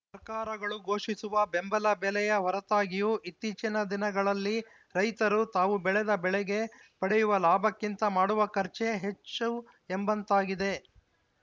ಸರ್ಕಾರಗಳು ಘೋಷಿಸುವ ಬೆಂಬಲ ಬೆಲೆಯ ಹೊರತಾಗಿಯೂ ಇತ್ತೀಚಿನ ದಿನಗಳಲ್ಲಿ ರೈತರು ತಾವು ಬೆಳೆದ ಬೆಳೆಗೆ ಪಡೆಯುವ ಲಾಭಕ್ಕಿಂತ ಮಾಡುವ ಖರ್ಚೇ ಹೆಚ್ಚು ಎಂಬಂತಾಗಿದೆ